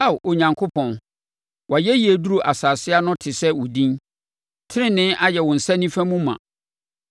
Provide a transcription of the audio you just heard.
Ao Onyankopɔn, wʼayɛyie duru asase ano te sɛ wo din; tenenee ayɛ wo nsa nifa mu ma.